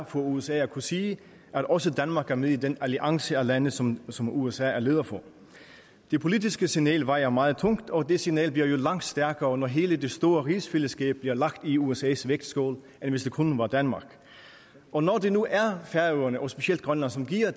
for usa er at kunne sige at også danmark er med i den alliance af lande som som usa er leder for det politiske signal vejer meget tungt og det signal bliver jo langt stærkere når hele det store rigsfællesskab bliver lagt i usas vægtskål end hvis kun det var danmark og når det nu er færøerne og specielt grønland som giver